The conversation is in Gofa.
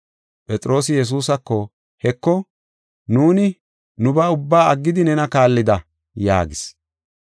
Phexroosi Yesuusako, “Heko; nuuni nubaa ubbaa aggidi, nena kaallida” yaagis.